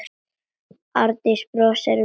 Arndís brosir veikt.